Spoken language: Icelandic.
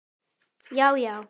Já, já.